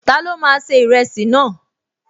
Ta ló máa ṣe ìrẹsì náà?